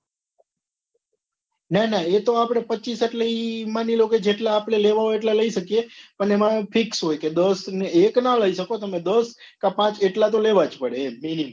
ના ના એતો આપડે પચીશ એટલે ઈ માની લો લે જેટલા આપડે લેવા હોય એટલા આપડે લઇ શકીએ અને એમાં fix હોય કે દસ કે એક ના લઇ શકો દશ કે પાંચ એટલા તો લેવા જ પડે એમ minimum